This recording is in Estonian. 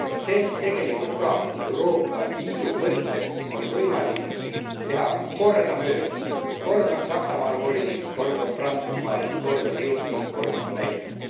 Sest tegelikult on ka Euroopa Liidu mõttes võimalik teha kordamööda kord on Saksamaal volinik, kord on Prantsusmaal, kord on Eestil, kord on Lätil.